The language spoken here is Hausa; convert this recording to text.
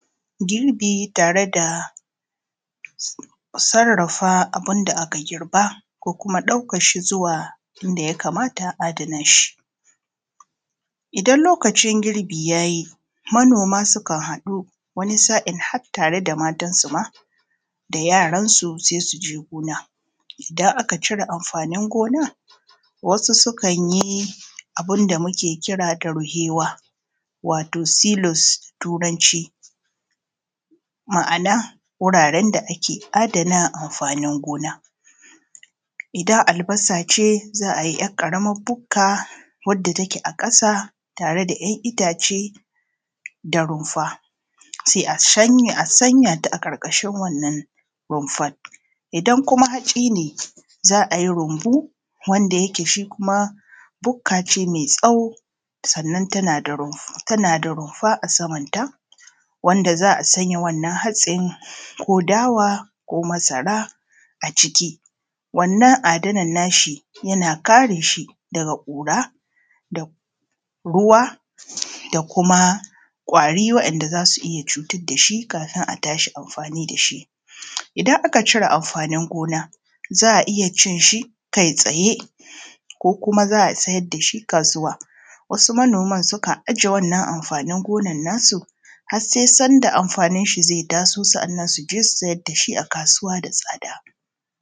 Girbi tare da sarafa abu da aka girba ko kuma ɗauke shi zuwa inda ya kamata a adana shi Idan lokacin girbi ya yi manoma sukan haɗu wani sa`in har tare da matansu ma da yaransu sai su je gona. Idan aka cire amfanin gonan wasu sukan yi abun da muke kira ruheewa wato silas da turanci ma`ana wuraren da ake adana amfanin gona. Idan albasa ce za a yi ƙaramar bukka wadda take a ƙasa tare da `yan itace da rumfa sai a sanya ta a ƙarƙashin wannan rumfa, idan kuma hatsi ne za a yi rumbu wanda yake shi kuma bukka ce mai tsawo sannan tana da rumfa a saman ta wanda za a sanya wannan hatsin ko dawa ko masara a ciki, wannan adanan na shi yana kare shi daga ƙura da ruwa da kuma ƙwari wa`yanda za su iya cutar da shi kafin a tashi amfani da shi Idan aka cire amfanin gona za a iya cin shi kai tsaye ko kuma za a iya sayar da shi a kasuwa, wasu manoman sukan ajiye wannan amfanin gonan na su har sai sanda amfanin shi zai taso sa`annan su je su sayar da shi a kasuwa da tsada.